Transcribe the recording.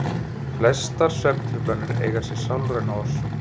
Flestar svefntruflanir eiga sér sálræna orsök.